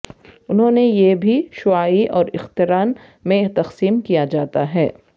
انہوں نے یہ بھی شعاعی اور اخترن میں تقسیم کیا جاتا ہے